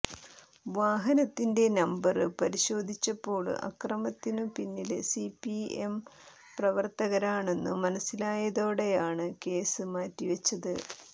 വാഹനത്തിന്റെ നമ്പര് പരിശോധിച്ചപ്പോള് അക്രമത്തിനു പിന്നില് സിപിഎം പ്രവര്ത്തകരാണെന്നു മനസ്സിലായതോടെയാണ് കേസ് മാറ്റിവച്ചത്